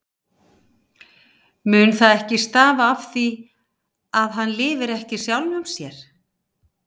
Mun það ekki stafa af því, að hann lifir ekki sjálfum sér?